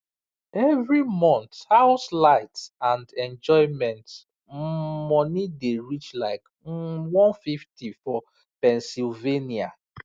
every month house light and enjoyment um money dey reach like um one hundred and fifty for pennsylvania